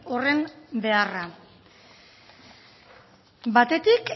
horren beharra batetik